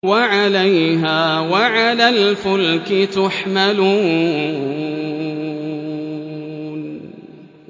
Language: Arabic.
وَعَلَيْهَا وَعَلَى الْفُلْكِ تُحْمَلُونَ